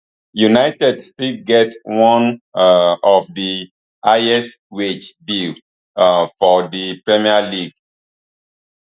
united still get one um of di highest wage bill um for di premier league